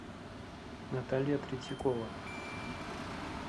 наталья третьякова